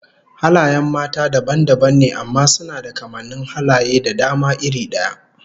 Halayen mata dabam dabam ne amma suna da kamannin halaye da dama iri daya